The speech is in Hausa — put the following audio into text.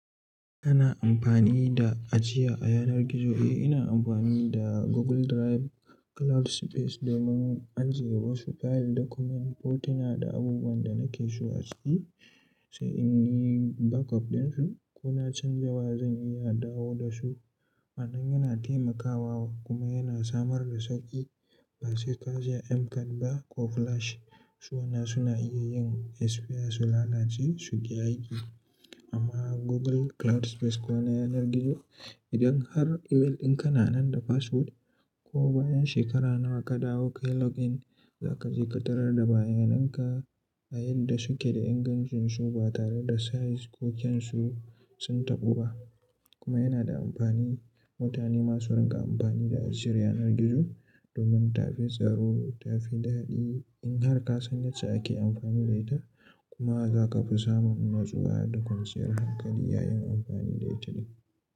Kana amfani da ajiya a yanar gizo? Eh, ina amfani da Google Drive cloud space domin ajiye wasu file document hotuna da abubuwan da nake so a ciki, sai in yi backup dinsu ko na canja wa zan iya dawo da su. Wannan yana taimakawa kuma yana samar da sauƙi. Ba sai ka je M card ba ko flash su wanda suna iya yin disappear su lalace su ki yi aiki. Amma Google cloud space kuwa na yanar gizo idan har email ɗinka na nan da password ko bayan shekara nawa ka dawo ka yi login, za ka je ka tarar da bayananka a yadda suke da ingancinsu ba tare da size ko kyansu sun taɓu ba. Kuma yana da amfani. Mutane masu rinƙa amfani da asirin yanar gizo domin ta fi tsaro ta fi daɗi in har ka san yadda ake amfani da ita. Kuma ba za ka fi samun natsuwa da kwanciyar hankali yayin amfani da ita ba.